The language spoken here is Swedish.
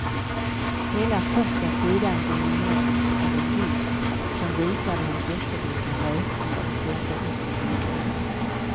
Hela första sidan dominerades av en bild som visade hur jättelika rökmoln vällde upp ur byggnaden.